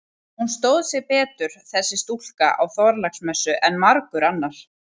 Hún stóð sig betur, þessi stúlka, á Þorláksmessu en margur annar.